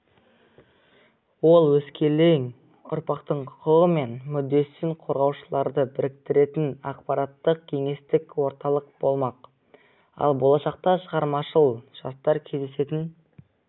ол өскелең ұрпақтың құқығы мен мүддесін қорғаушыларды біріктіретін ақпараттық-кеңестік орталық болмақ ал болашақта шығармашыл жастар кездесетін